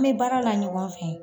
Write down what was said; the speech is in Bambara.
An bɛ baara la ɲɔgɔn fɛ